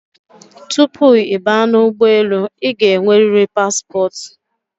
Tupu ị baa n'ugboelu, ị ga enweriri paspọt